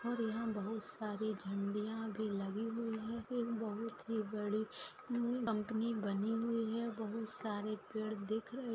और यहा पर बहुट सारी झंडिया भी लागी हुई है और बहुत ही बड़ी कंपनी बनी हुई है और बहुत सारे पेड दिख रहे --